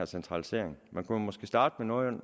centralisering man kunne måske starte med nogle